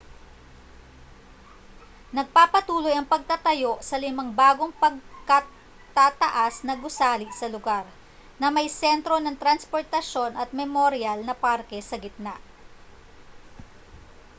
nagpapatuloy ang pagtatayo sa limang bagong pagkatataas na gusali sa lugar na may sentro ng transportasyon at memoryal na parke sa gitna